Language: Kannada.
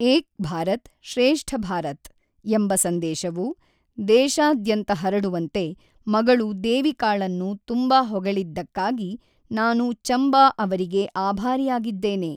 ಏಕ್ ಭಾರತ್ ಶ್ರೇಷ್ಠ ಭಾರತ್ ಎಂಬ ಸಂದೇಶವು ದೇಶಾದ್ಯಂತ ಹರಡುವಂತೆ ಮಗಳು ದೇವಿಕಾಳನ್ನು ತುಂಬಾ ಹೊಗಳಿದ್ದಕ್ಕಾಗಿ ನಾನು ಚಂಬಾ ಅವರಿಗೆ ಆಭಾರಿಯಾಗಿದ್ದೇನೆ.